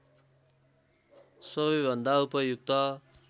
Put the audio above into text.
सबैभन्दा उपयुक्त